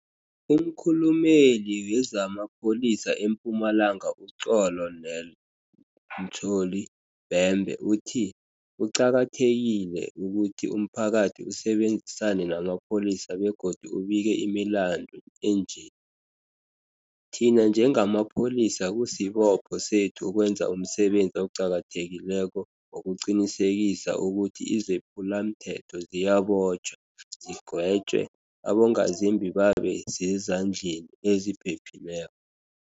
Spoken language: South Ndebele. UmKhulumeli wezama Pholisa eMpumalanga u-Colo nel Mtsholi Bhembe uthi kuqakathekile ukuthi umphakathi usebenzisane namapholisa begodu ubike imilandu enje. Thina njengamapholisa kusibopho sethu ukwenza umsebenzi oqakathekileko wokuqinisekisa ukuthi izephulamthetho ziyabotjhwa, zigwetjwe, abongazimbi babe sezandleni eziphephileko.